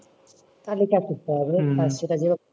তাহলে চাকরি পাওয়া যাবে,